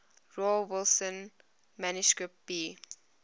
rawlinson manuscript b